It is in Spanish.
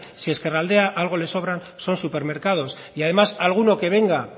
si a ezkerraldea algo le sobra son supermercados y además alguno que venga